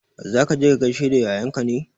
Za ka je ka gaishe da yayanka ne?